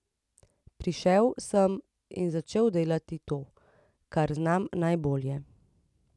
Prišel sem in začel delati to, kar znam najbolje.